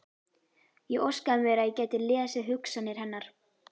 Ég óskaði mér að ég gæti lesið hugsanir hennar.